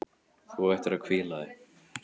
Þú ættir að hvíla þig.